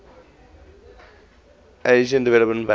asian development bank